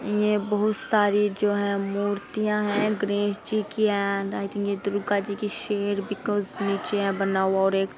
ये बहुत सारी जो है मूर्तियां है। गणेश जी की है। दुर्गा जी की है शेर बिकॉज़ नीचे यह बना हुआ है और एक --